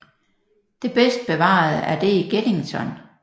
Det bedst bevarede er det i Geddington